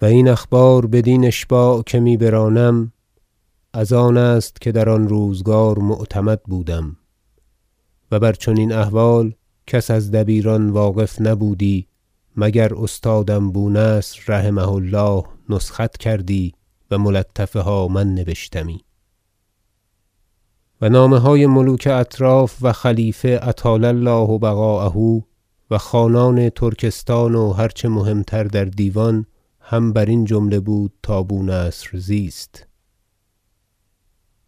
و این اخبار بدین اشباع که می برانم از آن است که در آن روزگار معتمد بودم و بر چنین احوال کس از دبیران واقف نبودی مگر استادم بو نصر رحمه الله نسخت کردی و ملطفه ها من نبشتمی و نامه های ملوک اطراف و خلیفه اطال الله بقاءه و خانان ترکستان و هر چه مهم تر در دیوان هم برین جمله بود تا بو نصر زیست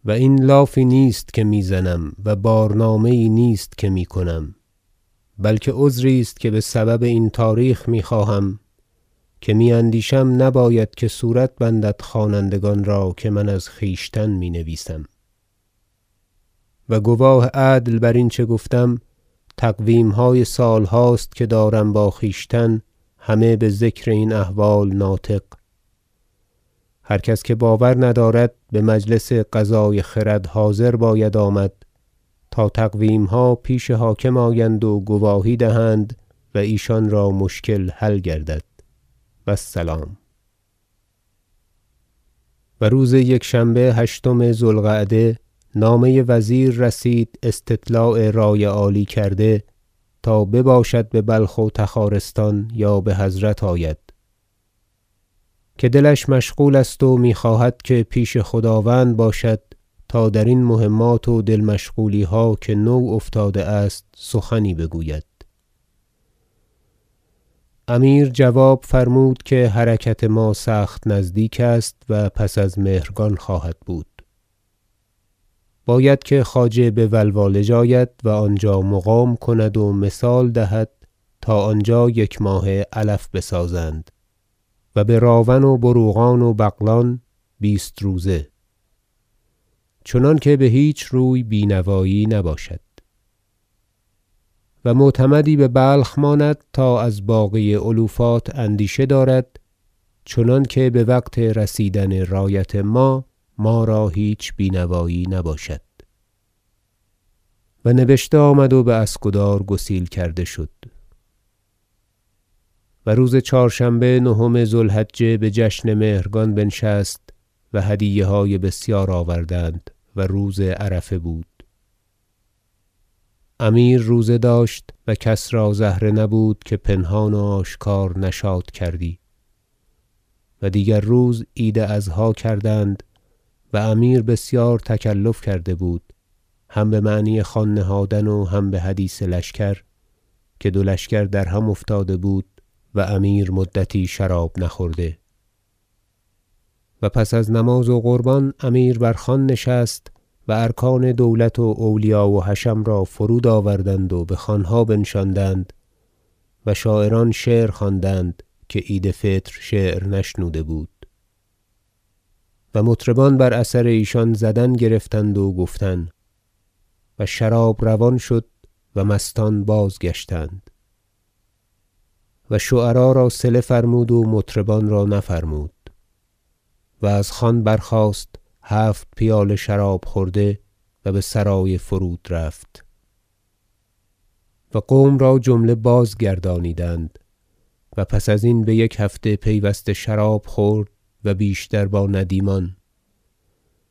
و این لافی نیست که میزنم و بارنامه یی نیست که میکنم بلکه عذری است که بسبب این تاریخ میخواهم که میاندیشم نباید که صورت بندد خوانندگان را که من از خویشتن می نویسم و گواه عدل برین چه گفتم تقویمهای سالهاست که دارم با خویشتن همه بذکر این احوال ناطق هر کس که باور ندارد بمجلس قضای خرد حاضر باید آمد تا تقویمها پیش حاکم آیند و گواهی دهند و ایشان را مشکل حل گردد و السلام و روز یکشنبه هشتم ذو القعده نامه وزیر رسید استطلاع رای عالی کرده تا بباشد ببلخ و تخارستان یا بحضرت آید که دلش مشغول است و میخواهد که پیش خداوند باشد تا درین مهمات و دل مشغولیها که نو افتاده است سخنی بگوید امیر جواب فرمود که حرکت ما سخت نزدیک است و پس از مهرگان خواهد بود باید که خواجه بولوالج آید و آنجا مقام کند و مثال دهد تا آنجا یکماهه علف بسازند و به راون و بروقان و بغلان بیست روزه چنانکه بهیچ روی بینوایی نباشد و معتمدی ببلخ ماند تا از باقی علوفات اندیشه دارد چنانکه بوقت رسیدن رایت ما ما را هیچ بینوایی نباشد و نبشته آمد و باسکدار گسیل کرده شد و روز چهارشنبه نهم ذو الحجه بجشن مهرگان بنشست و هدیه های بسیار آوردند و روز عرفه بود امیر روزه داشت و کس را زهره نبود که پنهان و آشکارا نشاط کردی و دیگر روز عید اضحی کردند و امیر بسیار تکلف کرده بود هم بمعنی خوان نهادن و هم بحدیث لشکر که دو لشکر در هم افتاده بود و امیر مدتی شراب نخورده و پس از نماز و قربان امیر بر خوان نشست و ارکان دولت و اولیا و حشم را فرود آوردند و بخوانها بنشاندند و شاعران شعر خواندند که عید فطر شعر نشنوده بود و مطربان بر اثر ایشان زدن گرفتند و گفتن و شراب روان شد و مستان باز گشتند و شعرا را صله فرمود و مطربان را نفرمود و از خوان برخاست هفت پیاله شراب خورده و بسرای فرود رفت و قوم را جمله بازگردانیدند و پس ازین بیک هفته پیوسته شراب خورد و بیشتر با ندیمان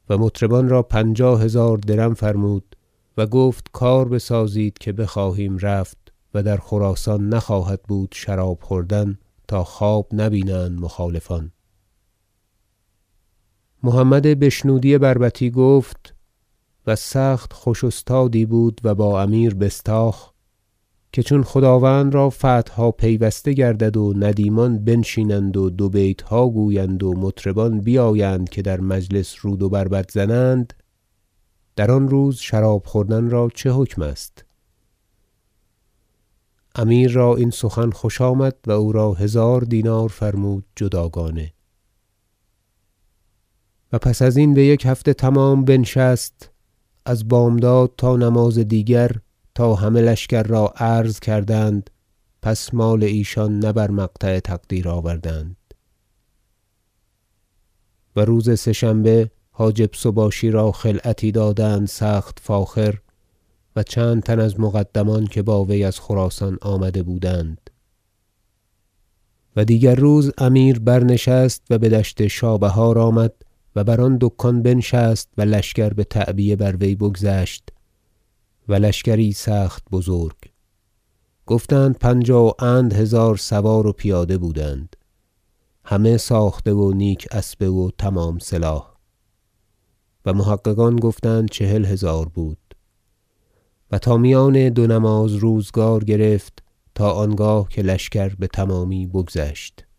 و مطربان را پنجاه- هزار درم فرمود و گفت کار بسازید که بخواهیم رفت و در خراسان نخواهد بود شراب خوردن تا خواب نه بینند مخالفان محمد بشنودی بربطی گفت- و سخت خوش استادی بود و با امیر بستاخ - که چون خداوند را فتحها پیوسته گردد و ندیمان بنشینند و دو بیتها گویند و مطربان بیایند که در مجلس رود و بربط زنند در آن روز شراب خوردن را چه حکم است امیر را این سخن خوش آمد و او را هزار دینار فرمود جداگانه و پس ازین بیک هفته تمام بنشست از بامداد تا نماز دیگر تا همه لشکر را عرض کردند پس مال ایشان نه بر مقطع تقدیر آوردند و روز سه شنبه حاجب سباشی را خلعتی دادند سخت فاخر و چند تن را از مقدمان که با وی از خراسان آمده بودند و دیگر روز امیر برنشست و بدشت شابهار آمد و بر آن دکان بنشست و لشکر بتعبیه بر وی بگذشت و لشکری سخت بزرگ گفتند پنجاه و اند هزار سوار و پیاده بودند همه ساخته و نیک اسبه و تمام سلاح و محققان گفتند چهل هزار بود و تا میان دو نماز روزگار گرفت تا آنگاه که لشکر بتمامی بگذشت